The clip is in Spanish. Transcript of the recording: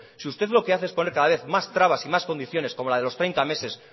si usted lo que hace es poner cada vez más trabas y más condiciones como la de los treinta meses